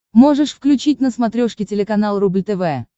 можешь включить на смотрешке телеканал рубль тв